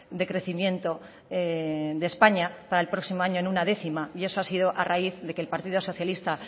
de crecimiento de españa para el próximo año en una décima y eso ha sido a raíz de que el partido socialista